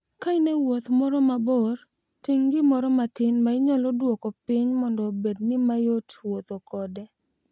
Ka in e wuoth moro mabor, ting' gimoro matin ma inyalo duoko piny mondo obedni mayot wuotho kode.